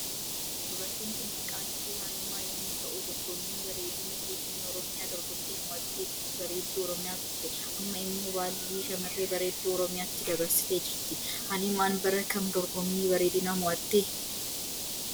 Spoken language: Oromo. Dubartiin Kun maqaan ishee haliima yommuu ta'u dorgommiin bareedina turizimoi oromiyaa dorgomtee moohatte bareddu oromiyaa turte Amma immoo baalli shamarree bareedduu oromiyaattti dabarsitee jirti. Haliiman bara Kam dorgommii bareedina moo'atte?